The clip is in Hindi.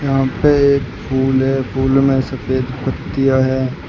यहां पे एक फूल है फूल में सफेद पत्तिया हैं।